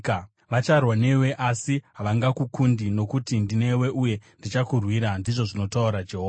Vacharwa newe asi havangakukundi, nokuti ndinewe uye ndichakurwira,” ndizvo zvinotaura Jehovha.